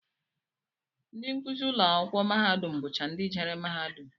Ndị nkụzi ụlọakwụkwọ mahadum bụcha ndị jere mahadum